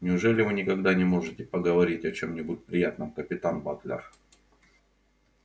неужели вы никогда не можете поговорить о чём-нибудь приятном капитан батлер